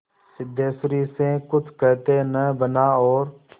सिद्धेश्वरी से कुछ कहते न बना और